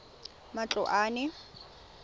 matloane